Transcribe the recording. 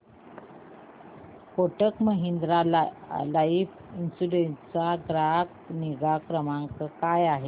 Kotak Mahindra life insurance चा ग्राहक निगा क्रमांक काय आहे